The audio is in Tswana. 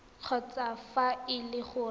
kgotsa fa e le gore